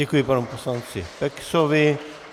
Děkuji panu poslanci Peksovi.